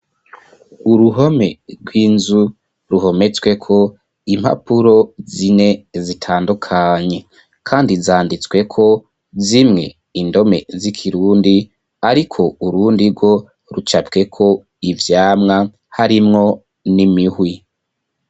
uruhome rw'inzu ruhometswe ko impapuro zine zitandukanye kandi zanditswe ko zimwe indome z'ikirundi ariko urundi rwo rucapwe ko ivyamwa harimwo n'imihwi